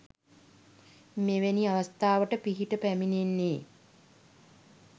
මෙවැනි අවස්ථාවට පිහිට පැමිණෙන්නේ